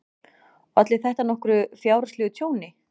Olli þetta nokkru fjárhagslegu tjóni.